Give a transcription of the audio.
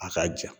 A ka jan